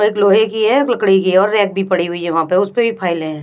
एक लोहे की है लकड़ी की है और रैक भी पड़ी हुई है वहां पे उस पे भी फाइल हैं।